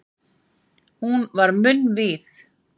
Hún var munnvíð.